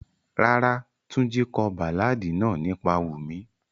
Rárá, Tunji ko baláàdi naa nipa Wumi.